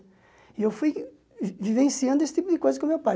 E eu fui vivenciando esse tipo de coisa com o meu pai.